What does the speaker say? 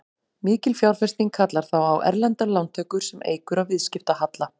Mikil fjárfesting kallar þá á erlendar lántökur sem eykur á viðskiptahalla.